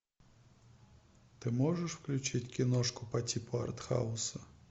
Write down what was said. ты можешь включить киношку по типу артхауса